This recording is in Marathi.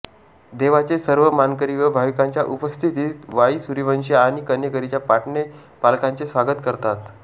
देवाचे सर्व मानकरी व भाविकांच्या उपस्थितीत वाई सुर्यवंशी आणि कन्हेरीच्या पाटणे पालख्यांचे स्वागत करतात